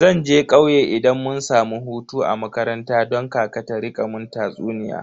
Zan je kauye idan mun samu hutu a makaranta don kaka ta rika mun tatsuniya.